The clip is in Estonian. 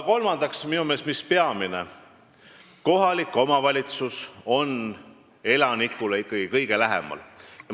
Kolmandaks, minu meelest peamine asi: kohalik omavalitsus on ikkagi elanikule kõige lähemal.